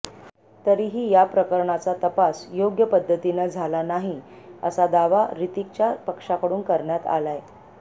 तरीही या प्रकरणाचा तपास योग्य पद्धतीनं झाला नाही असा दावा ह्रतिकच्या पक्षाकडून करण्यात आलाय